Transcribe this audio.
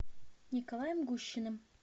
николаем гущиным